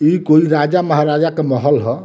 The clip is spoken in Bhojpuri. इ कोई राज-महाराजा का महल ह।